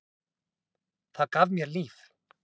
Það gaf mér líf.